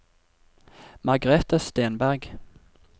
Margrete Stenberg